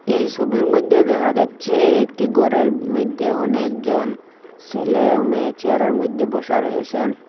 এই ছবির মইধ্যে দেখা যাচ্ছে একটি ঘরের মইধ্যে অনেকজন ছেলে ও মেয়ে চেয়ারের মইধ্যে বসা রয়েছেন।